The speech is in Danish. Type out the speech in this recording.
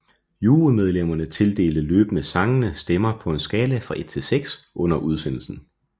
Jurymedlemmerne tildelte løbende sangene stemmer på en skala fra 1 til 6 under udsendelsen